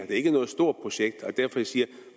ikke noget stort projekt det er derfor jeg siger at